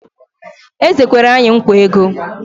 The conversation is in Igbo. Eze kwere anyị nkwa ego